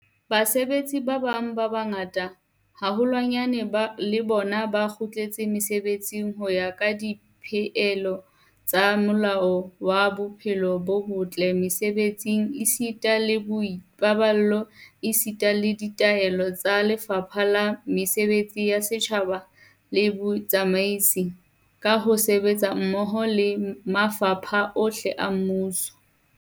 Basebetsi ba bang ba bangata haholwanyane le bona ba kgutletse mesebetsing ho ya ka dipehelo tsa Molao wa Bophelo bo botle Mese-betsing esita le Boipaballo esita le ditaelo tsa Lefapha la Mesebetsi ya Setjhaba le Botsamaisi, ka ho sebetsa hammoho le mafapha ohle a mmuso.